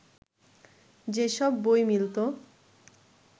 যেসব বই মিলত